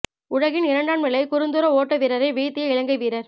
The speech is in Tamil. உலகின் இரண்டாம் நிலை குறுந்தூர ஓட்ட வீரரை வீழ்த்திய இலங்கை வீரர்